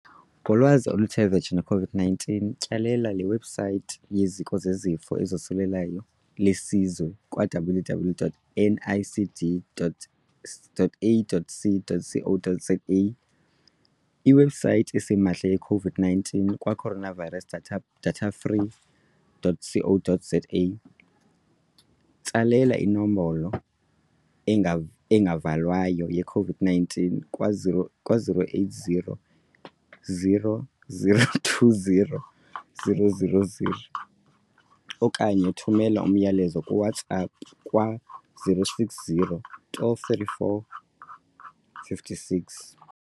Ngolwazi oluthe vetshe malunga neCOVID-19, tyelela iwebhusaythi yeZiko leZifo ezoSulelayo leSizwe kwa-www.nicd.ac.za, iwebhusaythi esimahla yeCOVID-19 kwa-coronavirus.datafree.co, tsalela iNombolo engaValwayo yeCOVID-19 kwa-0800 029 999 okanye thumela umyalezo kaWhatsApp kwa-0600 12 3456.